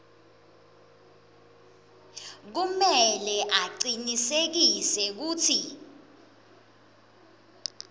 kumele acinisekise kutsi